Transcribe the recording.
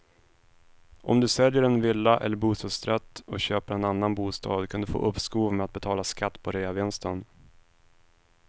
Om du säljer en villa eller bostadsrätt och köper en annan bostad kan du få uppskov med att betala skatt på reavinsten.